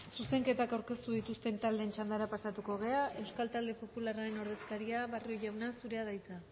zuzenketak aurkeztu dituzten taldeen txandara pasatuko gara euskal talde popularraren ordezkaria barrio jauna zurea da hitza